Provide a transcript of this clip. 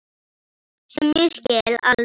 Sem ég skil alveg.